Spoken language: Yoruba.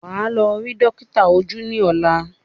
Wà á lọ rí dọ́kítà ojú ní ọ̀la!